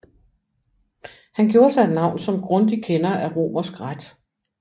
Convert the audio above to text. Han gjorde sig et navn som grundig kender af romersk ret